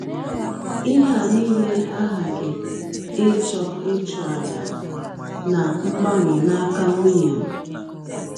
Ihe a nile aghaghị ịchọ ịchụ àjà na mgbanwe n’aka nwụnye m.